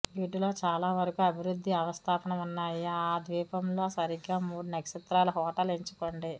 వీటిలో చాలావరకు అభివృద్ధి అవస్థాపన ఉన్నాయి ఆ ద్వీపంలో సరిగ్గా మూడు నక్షత్రాల హోటల్ ఎంచుకోండి